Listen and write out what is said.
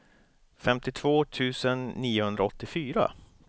femtiotvå tusen niohundraåttiofyra